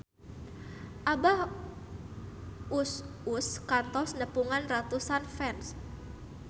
Abah Us Us kantos nepungan ratusan fans